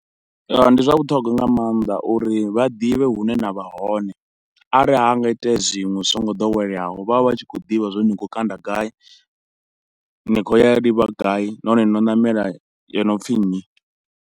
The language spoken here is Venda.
Ndi zwa vhuṱhongwa nga mannḓa uri vha ḓivhe hune na vha hone, arali hanga iteya zwiṅwe zwi so ngo ḓoweleaho vha vha vha tshi khou ḓivha zwori ni kho u kanda gai, ni khou ya livha gai nahone no ṋamela yo no pfhi nnyi.